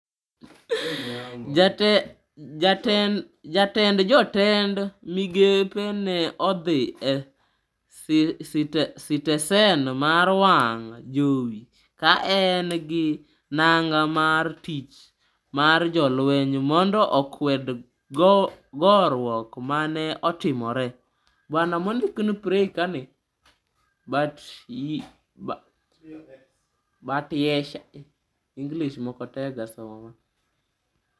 Jatend jotend migepe ne odhi e sitesen mar wang' jowi ka en gi nanga mar tich mar jolweny mondo okwed goruok ma ne otimore.